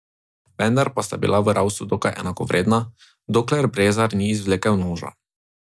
Vendar pa sta bila v ravsu dokaj enakovredna, dokler Brezar ni izvlekel noža.